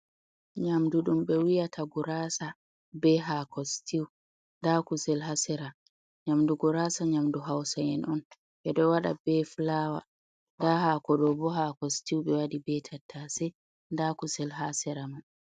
Nyamdu ɗum ɓe wi'ata gurasa be hako stiw nda kusel ha sera. Nyamdu gurasa, nyamdu hausa'en on ɓe ɗo waɗa be fulawa. Nda hako ɗo bo hako stiw. Ɓe waɗi be tattase nda kusel ha sera man.